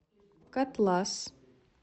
котлас